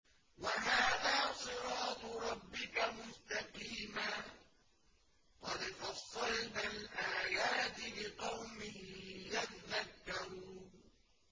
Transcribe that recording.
وَهَٰذَا صِرَاطُ رَبِّكَ مُسْتَقِيمًا ۗ قَدْ فَصَّلْنَا الْآيَاتِ لِقَوْمٍ يَذَّكَّرُونَ